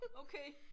Okay